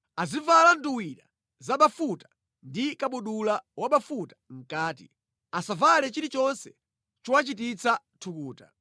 Azivala nduwira za bafuta ndi kabudula wabafuta mʼkati. Asavale chilichonse chowachititsa thukuta.